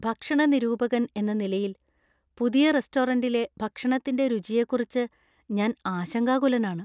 ഭക്ഷണ നിരൂപകൻ എന്ന നിലയിൽ, പുതിയ റെസ്റ്റോറന്‍റിലെ ഭക്ഷണത്തിന്‍റെ രുചിയെക്കുറിച്ച് ഞാൻ ആശങ്കാകുലനാണ്.